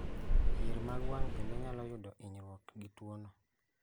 Yier mag wang' bende nyalo yudo inyruok gi tuo no